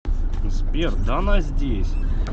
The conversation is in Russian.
сбер да она здесь